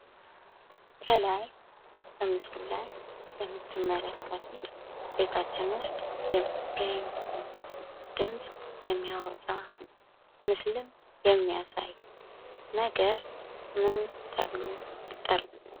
ከላይ በምስሉ ላይ የምትመለከቱት ቤታችን ውስጥ የሚገኝ ድምፅ የሚያወጣ ምስልም የሚያሳይ ነገር ምን ተብሎ ይጠራል ?